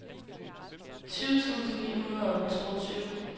tyve tusind ni hundrede og toogtyve